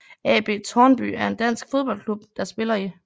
AB Tårnby er en dansk fodboldklub der spiller i